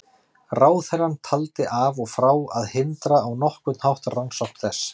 Ráðherrann taldi af og frá að hindra á nokkurn hátt rannsókn þess.